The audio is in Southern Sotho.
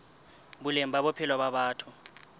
boleng ba bophelo ba batho